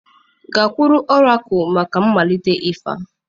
Gakwuru ọrakụlụ maka mmalite ịfa!